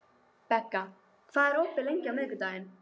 Begga, hvað er opið lengi á miðvikudaginn?